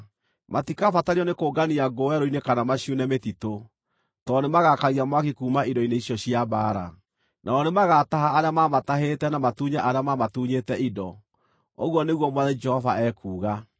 Matikabatario nĩkũngania ngũ werũ-inĩ kana maciune mĩtitũ, tondũ nĩmagakagia mwaki kuuma indo-inĩ icio cia mbaara. Nao nĩmagataha arĩa maamatahĩte na matunye arĩa maamatunyĩte indo, ũguo nĩguo Mwathani Jehova ekuuga.